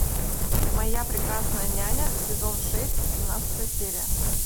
моя прекрасная няня сезон шесть семнадцатая серия